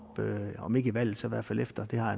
om ikke under valget så i hvert fald efter det har